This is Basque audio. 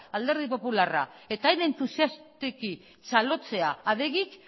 alderdi popularra eta hain entusiastaki txalotzea adegik